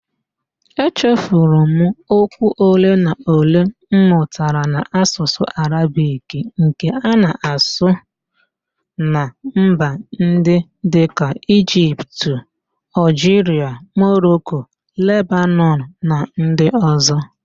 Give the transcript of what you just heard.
Echefuru m okwu ole na ole m mụtara n'Ạsụsụ Arabik nke a na-asụ na mba ndị dịka: Igipt, Ọlgiria, Moroko, Lebanọn na ndi ọzọ